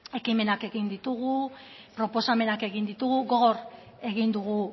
ekimenak egin ditugu proposamenak egin ditugu gogor egin dugu